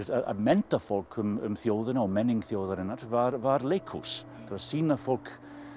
að mennta fólk um þjóðina og menningu þjóðarinnar var var leikhús til að sýna fólki